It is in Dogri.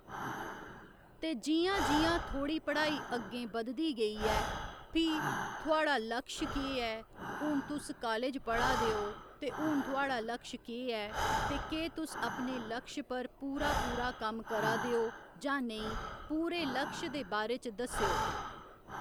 ते जियां जियां थोह्ड़ी पढ़ाई अग्गें बदधी गेई ऐ भी थुहाड़ा लक्ष्य केह् ऐ ते हू'न तुस कालेज पढ़ा दे ओ ते हू'न थुहाड़ा लक्ष्य केह् ऐ ते केह् तुस अपने लक्ष्य पर पूरा पूरा कम्म करा दे ओ जां नेईं पूरे लक्ष्य दे बारै च दस्सेओ